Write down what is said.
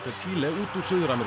Chile út úr Suður